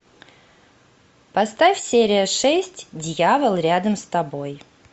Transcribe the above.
поставь серия шесть дьявол рядом с тобой